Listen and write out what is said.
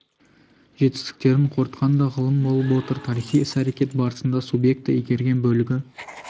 жетістіктерін қорытқан да ғылым болып отыр тарихи іс-әрекет барысында субъекті игерген бөлігі